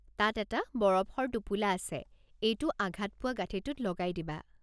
তাত এটা বৰফৰ টোপোলা আছে, এইটো আঘাত পোৱা গাঠিঁটোত লগাই দিবা।